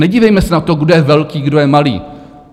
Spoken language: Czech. Nedívejme se na to, kdo je velký, kdo je malý.